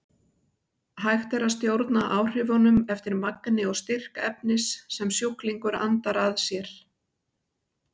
Hægt er að stjórna áhrifunum eftir magni og styrk efnis sem sjúklingur andar að sér.